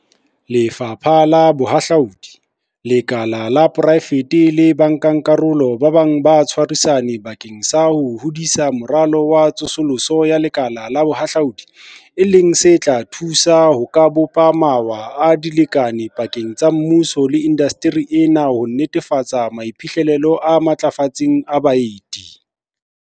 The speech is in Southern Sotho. Lefapha la Bohahlaudi, lekala la poraefete le bankakarolo ba bang ba tshwarisane bakeng sa ho hodisa Moralo wa Tsosoloso ya Lekala la Bohahlaudi, e leng se tla thusa ka ho bopa mawa a dilekane pakeng tsa mmuso le indasteri ena ho netefatsa maiphihlelo a matlafetseng a baeti.